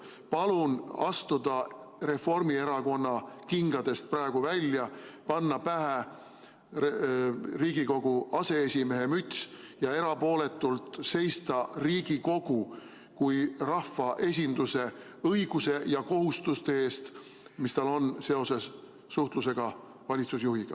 Palun astuda Reformierakonna kingadest praegu välja, panna pähe Riigikogu aseesimehe müts ja erapooletult seista Riigikogu kui rahvaesinduse õiguste ja kohustuste eest, mis tal on seoses suhtlusega valitsusjuhiga.